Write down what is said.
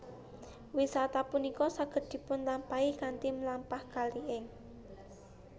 Wisata punika saged dipunlampahi kanthi mlampah kali ing